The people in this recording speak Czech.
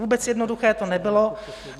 Vůbec jednoduché to nebylo.